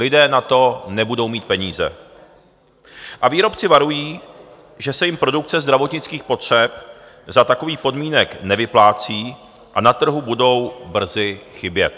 Lidé na to nebudou mít peníze a výrobci varují, že se jim produkce zdravotnických potřeb za takových podmínek nevyplácí a na trhu budou brzy chybět.